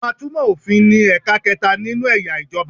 Àwọn atúmọ̀ òfin ni ẹ̀ka kẹta nínú eya ìjọba